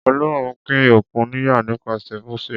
Ọlọ́run pín òkun níyà nípasẹ̀ Mósè.